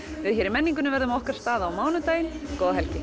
við í menningunni verðum á okkar stað á mánudag góða helgi